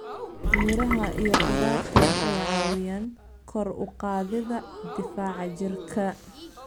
Miraha iyo khudaarta waxay caawiyaan kor u qaadida difaaca jirka.